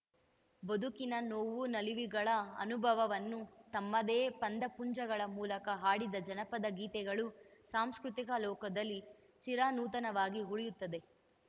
ಬದುಕಿನ ನೋವು ನಲಿವುಗಳ ಅನುಭವವನ್ನು ತಮ್ಮದೇ ಪದಪುಂಜಗಳ ಮೂಲಕ ಹಾಡಿದ ಜಾನಪದ ಗೀತೆಗಳು ಸಾಂಸ್ಕೃತಿಕ ಲೋಕದಲ್ಲಿ ಚಿರನೂತನವಾಗಿ ಉಳಿಯುತ್ತದೆ